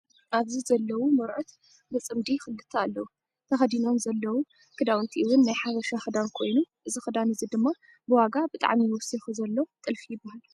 ኣብዚ ዘለው ሞርዑት ብፅምዲ 2 ኣለው። ተከዲኖሞ ዘለው ክዳውንቲ እውን ናይ ሓበሻ ክዳን ኮይኑ እዚ ክዳን እዚ ድማ ብዋጋ ብጣዕሚ ወሲኩ ዘሎ ጥልፊ ይበሃል።